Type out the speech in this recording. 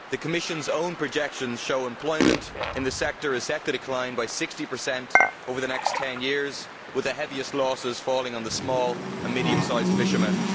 The Commission's own projections show employment in the sector is set to decline by 60 over the next 10 years, with the heaviest losses falling on those small and medium sized fishermen.